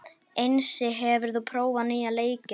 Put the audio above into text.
Einsi, hefur þú prófað nýja leikinn?